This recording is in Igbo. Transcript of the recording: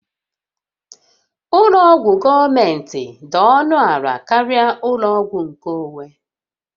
Ụlọ ọgwụ gọọmentị dị ọnụ ala karịa ụlọ ọgwụ nkeonwe